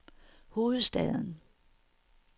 hovedstaden